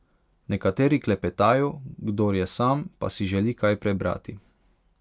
Nekateri klepetajo, kdor je sam, pa si želi kaj prebrati.